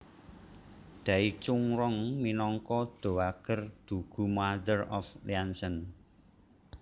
Dai Chunrong minangka Dowager Dugu Mother of Liancheng